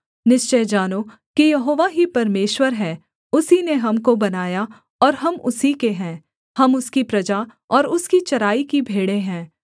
निश्चय जानो कि यहोवा ही परमेश्वर है उसी ने हमको बनाया और हम उसी के हैं हम उसकी प्रजा और उसकी चराई की भेड़ें हैं